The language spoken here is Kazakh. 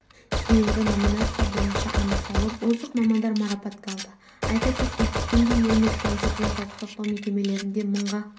дейінгі номинация бойынша анықталып озық мамандар марапатталды айта кетейік бүгінде еліміз бойынша денсаулық сақтау мекемелерінде мыңға